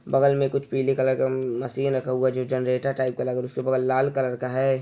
बगल मे कुछ पीले कलर का म-मसीन रखा हुआ है जो जनरेटर टाइप का लग उसके ऊपर लाल कलर का है।